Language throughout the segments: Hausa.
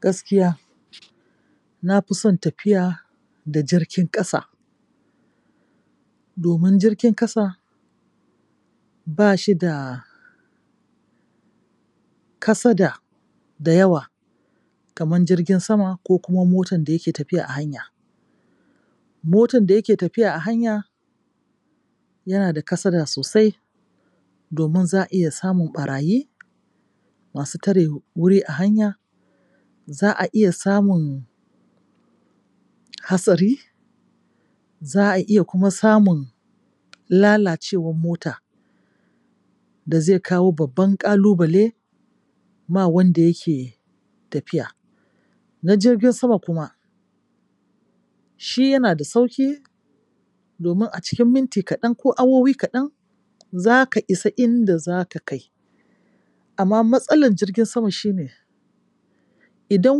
Gaskiya, na fi son tafiya da jirgin ƙasa domi n jirgin ƙasa ba shi da kasada da yawa kaman jirgin sama ko kuma motan da yake tafiya a hanya. Motan da yake tafiya a hanya yana da kasada sosai domin za a iya samun ɓarayi masu tare wuri a hanya, za a iya samun hatsari, za a iya kuma samun lalacewan mota da zai kawo babban ƙalubale ma wanda yake tafiya. Na jirgin sama kuma, shi yana da sauƙi domin a cikin minti kaɗan ko awowi kaɗan za aka isa inda za ka kai, amma matsalar jirgin sama shi ne idan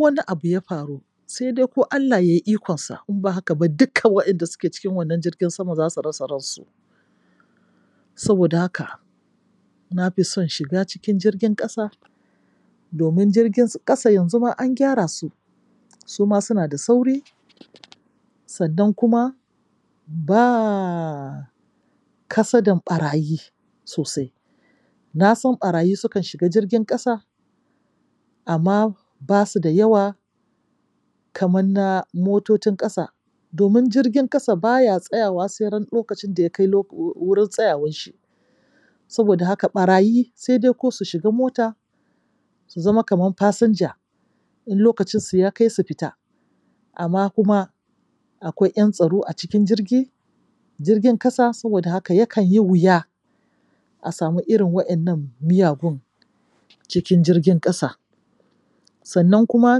wani abu ya faru sai dai ko Allah Ya yi ikonsa in ba haka ba duka wanda suke cikin wannan jirgin sama za su rasa ransu. Saboda haka na fi son shiga cikin jirgin ƙasa domin jirgin ƙasa yanzu ma an gyara su su ma suna da sauri. Sannan kuma ba kasadan ɓarayi sosai. Na san ɓarayi sukan shiga jirgin ƙasa amma ba su da yawa kaman na mototin ƙasa domin jirgin ƙasa ba ya tsayawa sai ran lokacin da ya kai wurin tsayawar shi Saboda haka, ɓarayi sai dai ko su shiga mota su zama kaman fasinja. In lokacinsu ya kai su fita amma kuma akwai ƴan tsaro a cikin jirgi, jirgin ƙasa, saboda haka yakan yi wuya a samu irin waƴannan miyagun cikin jirgin ƙasa. Sannan kuma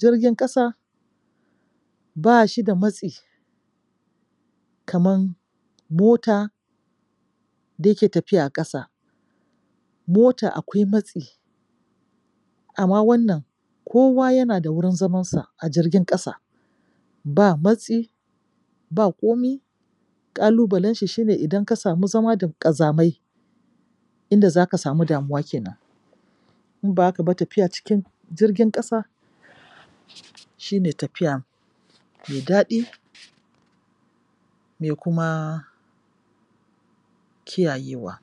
jirgin ƙasa ba shi da matsi kaman mota da yake tafiya a ƙasa Mota akwai matsi. Amma wannan ko yana da wurin zamansa a jirgin ƙasa. Ba matsi ba komi. Ƙalubalen shi shi ne idan ka samu zama da ƙazamai, inda za ka samu damuwa ke nan. In ba haka ba tafiya cikin jirgin ƙasa shi ne tafiya mai daɗi mai kuma kiyayewa.